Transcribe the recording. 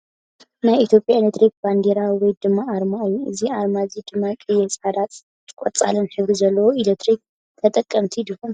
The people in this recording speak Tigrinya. ናይ ኢትዮጵያ ኤልክትሪ ባንዴራ ወይ ድማ ኣርማ እዩ ። እዚ ኣርማ እዚ ድማ ቀይሕ፣ ፃዕዳ ፣ ቆፃልን ሕብሪ ኣለዎ ። ኤክትሪክ ተጠቀምቲ ዲኩም ?